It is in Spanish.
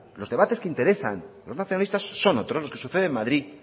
los debate que interesan a los nacionalistas son otros los que suceden en madrid